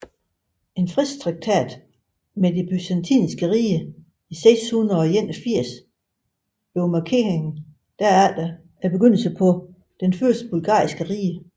En fredstraktat med det Byzantiske rige i 681 markerede derefter begyndelsen på det første bulgarske rige